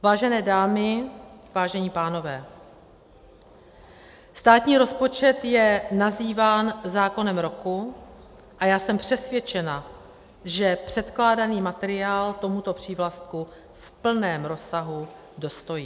Vážené dámy, vážení pánové, státní rozpočet je nazýván zákonem roku a já jsem přesvědčena, že předkládaný materiál tomuto přívlastku v plném rozsahu dostojí.